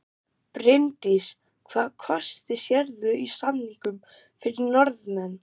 Bryndís: Hvaða kosti sérðu í samningunum fyrir Norðmenn?